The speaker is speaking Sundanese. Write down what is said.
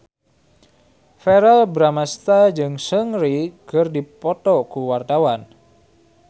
Verrell Bramastra jeung Seungri keur dipoto ku wartawan